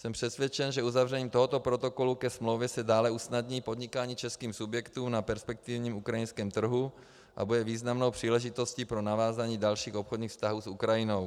Jsem přesvědčen, že uzavřením tohoto protokolu ke smlouvě se dále usnadní podnikání českým subjektům na perspektivním ukrajinském trhu a bude významnou příležitostí pro navázání dalších obchodních vztahů s Ukrajinou.